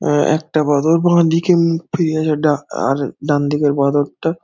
অ্যাঁ একটা বাঁদর বাঁদিকে মুখ ফিরিয়ে আছে ডা আর ডানদিকের বাঁদরটা--